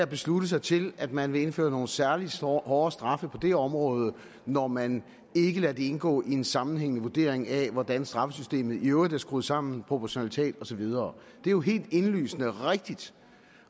beslutte sig til at man vil indføre nogle særlig hårde straffe på det område når man ikke lader det indgå i en sammenhængende vurdering af hvordan straffesystemet i øvrigt er skruet sammen proportionalitet og så videre det er jo helt indlysende rigtigt